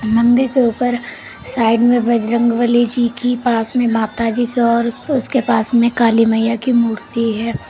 मंदिर के ऊपर साइड में बजरंगबली जी की पास में माताजी का और उसके पास में काली मईया की मूर्ति है।